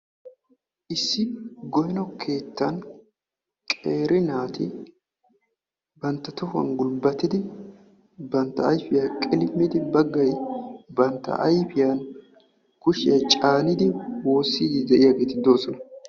Issi goyno keettan qeeri naati bantta tohuwan gulbbatidi bantta ayfiya qilimmidi baggayi ayfiyan kushiya caanidi woossiiddi de"iyageeti doosona.